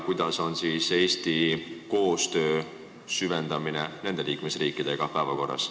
Kas te saate need palun nimetada?